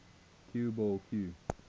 cue ball cue